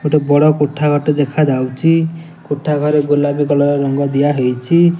ଗୋଟେ ବାଡ଼ କୋଠା ଘର ଟେ ଦେଖା ଯାଉଚି କୋଠା ଘରେ ଗୋଲାପୀ କଲର ରଙ୍ଗ ଦିଆ ହେଇଛି।